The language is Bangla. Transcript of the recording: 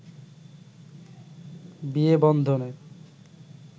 বিয়ে বন্ধনে